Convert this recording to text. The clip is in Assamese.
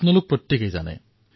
এয়া কণ কণ শিশুসকলেও জানে